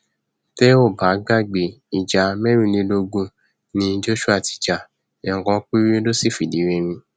tẹ ò bá gbàgbé ìjà mẹrìnlélógún ni joshua ti ja ẹẹkan péré ló sì fìdírẹmi